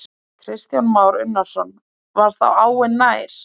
Kristján Már Unnarsson: Var þá áin nær?